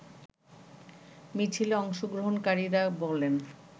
মিছিলে অংশগ্রহণকারীরা বলেন